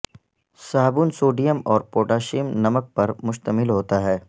صابن سوڈیم اور پوٹاشیم نمک پر مشتمل ہوتا ہے